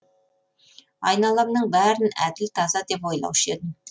айналамның бәрін әділ таза деп ойлаушы едім